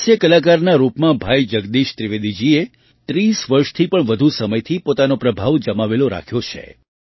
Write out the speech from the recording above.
હાસ્ય કલાકારના રૂપમાં ભાઈ જગદીશ ત્રિવેદીજીએ 30 વર્ષથી પણ વધુ સમયથી પોતાનો પ્રભાવ જમાવેલો રાખ્યો છે